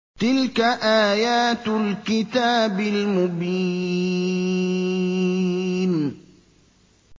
تِلْكَ آيَاتُ الْكِتَابِ الْمُبِينِ